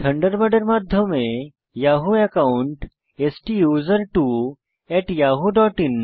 থান্ডারবার্ডের মাধ্যমে Yahoo account STUSERTWOyahoo dot in